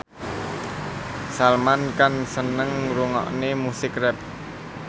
Salman Khan seneng ngrungokne musik rap